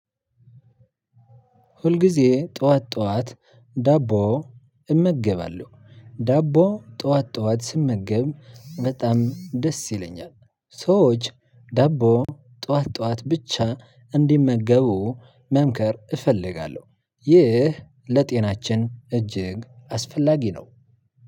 ሁልጊዜ ጠዋት ጠዋት ዳቦ እመገባለሁ ዳቦ ጥዋት ጥዋት ስመገብ በጣም ደስ ይለኛል። ሰዎች ዳቦ ጥዋት ጥዋት ብቻ እንዲመገቡ መምከር እፈልጋለሁ። ይህ ለጤናችን እጅግ አስፈላጊ ነው።